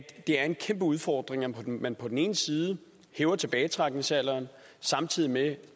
det er en kæmpe udfordring at man på den ene side hæver tilbagetrækningsalderen samtidig med